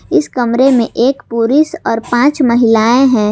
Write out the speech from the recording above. इस कमरे में एक पुरुष और पांच महिलाएं हैं।